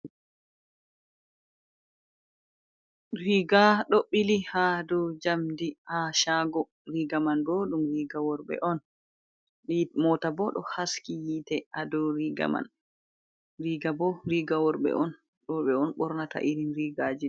Riga ɗo ɓili ha ɗow jamdi ha chago riga man ɗo ɗum riga worɓe on, mota bo ɗo haski yitte ha dou riga man, riga bo riga worbee on worɓɓe on ɓornata irin riga je ɗo.